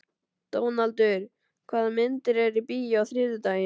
Dónaldur, hvaða myndir eru í bíó á þriðjudaginn?